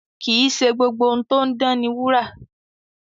Kì í ṣe gbogbo ohun tó ń dán ni wúrà.